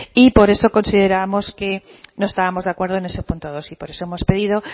y por eso considerábamos que no estábamos de acuerdo en ese punto dos y por eso hemos pedido